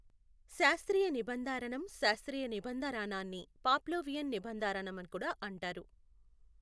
శాస్త్రీయ నిబందారనం శాస్త్రీయ నిబందారనాన్ని పాప్లోవియన్ నిబందారనమని కూడా అంటారు